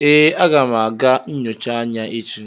Ee, aga m aga nyocha anya echi